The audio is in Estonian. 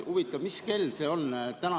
Huvitav, mis kell see oli?